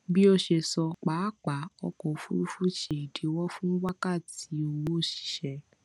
bí o ṣe sọ pápá ọkọ òfurufú ṣe ìdíwọ fún wákàtí owó òṣìṣẹ